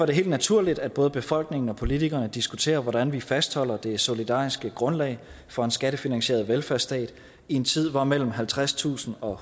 det helt naturligt at både befolkningen og politikerne diskuterer hvordan vi fastholder det solidariske grundlag for en skattefinansieret velfærdsstat i en tid hvor mellem halvtredstusind og